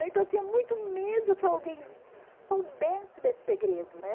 Então eu tinha muito medo que alguém soubesse desse segredo, né?